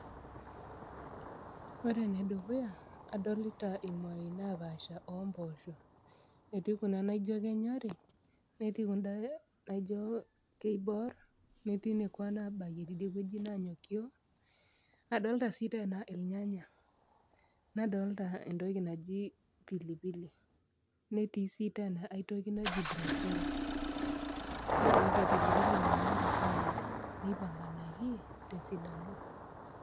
Ore enedukuya adolita imuai napaasha omposho etii kuna naijo kenyori netii kunda naijo keiborr netii nekua nabayie nanyokio adolta sii tena ilnyanya nadolta entoki naji pilipili netii sii tena aitoki naji brocoli nadolta pilipili nanyori sininye neipanganaki tesidano.